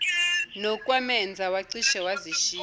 nokwamenza wacishe wazishiya